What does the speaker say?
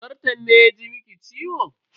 Zarton ne ya ji miki ciwo?